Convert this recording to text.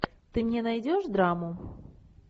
ты мне найдешь драму